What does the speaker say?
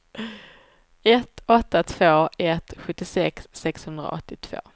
ett åtta två ett sjuttiosex sexhundraåttiotvå